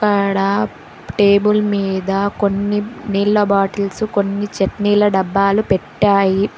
అక్కడా టేబుల్ మీద కొన్ని నీళ్ల బాటిల్స్ కొన్ని చట్నీల డబ్బాలు పెట్టాయి.